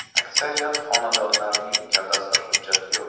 Aksariyat xonadonlarning kadastr hujjati yo‘q.